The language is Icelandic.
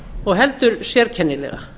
og heldur sérkennilega